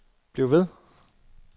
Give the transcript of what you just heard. bliv ved